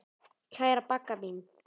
Kæra Bagga mín.